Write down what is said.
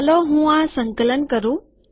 ચાલો હું આ સંકલન કરું